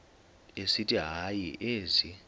esithi hayi ezi